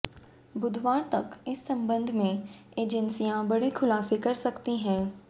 बुधवार तक इस संबंध में एजेंसियां बड़े खुलासे कर सकती हैं